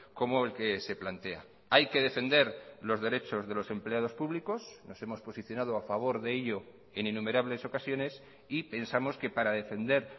como el que se plantea hay que defender los derechos de los empleados públicos nos hemos posicionado a favor de ello en innumerables ocasiones y pensamos que para defender